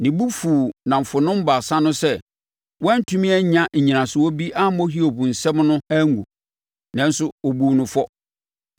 Ne bo fuu nnamfonom baasa no sɛ wɔantumi anya nnyinasoɔ bi ammɔ Hiob nsɛm no angu, nanso wɔbuu no fɔ.